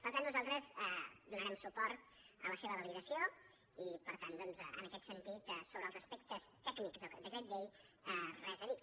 per tant nosaltres donarem suport a la seva validació i per tant doncs en aquest sentit sobre els aspectes tècnics del decret llei res a dir